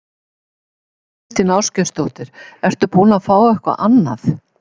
Þóra Kristín Ásgeirsdóttir: Ertu búinn að fá eitthvað annað?